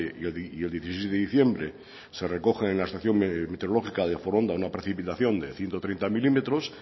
y el dieciséis de diciembre se recogen en la estación meteorológica de foronda una precipitación de ciento treinta milímetros